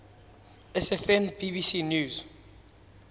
sfn bbc news